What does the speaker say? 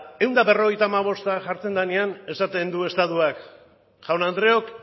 ehun eta berrogeita hamabosta jartzen denean esaten du estatuak jaun andreok